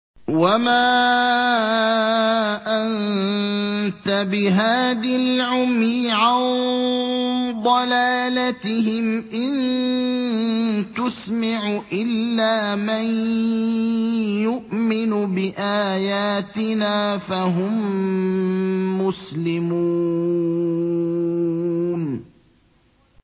وَمَا أَنتَ بِهَادِ الْعُمْيِ عَن ضَلَالَتِهِمْ ۖ إِن تُسْمِعُ إِلَّا مَن يُؤْمِنُ بِآيَاتِنَا فَهُم مُّسْلِمُونَ